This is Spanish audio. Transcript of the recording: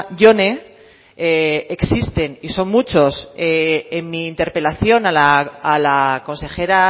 jone existen y son muchos en mi interpelación a la consejera